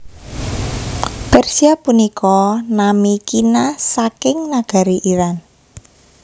Persia punika nami kina saking nagari Iran